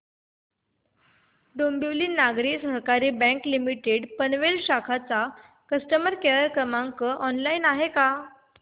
डोंबिवली नागरी सहकारी bank limited Panvel शाखा चा कस्टमर केअर क्रमांक ऑनलाइन आहे का